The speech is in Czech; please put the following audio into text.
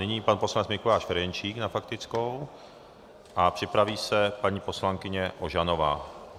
Nyní pan poslanec Mikuláš Ferjenčík na faktickou a připraví se paní poslankyně Ožanová.